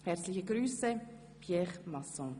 Herzliche Grüsse, Pierre Masson.